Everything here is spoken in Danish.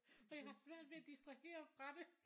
Og jeg har svært ved at distrahere fra det